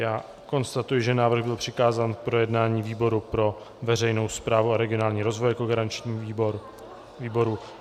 Já konstatuji, že návrh byl přikázán k projednání výboru pro veřejnou správu a regionální rozvoj jako garančnímu výboru.